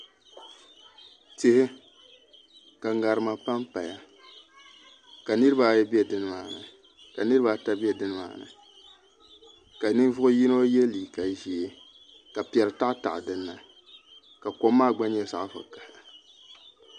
Tihi ka ŋarima panpaya ka nirabaata ayi bɛ nimaani ka ninvuɣu yino yɛ liiga ʒiɛ ka piɛri taɣataɣa dinni ka kom maa gba nyɛ zaɣ vakaɣali